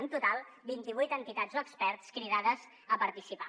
en total vint i vuit entitats o experts cridades a participar